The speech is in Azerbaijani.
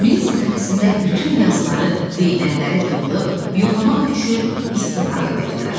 Milis idarəsində bütün yazıları deyilənləri yığılıb, yoxlamaq üçün istintaqa verdilər.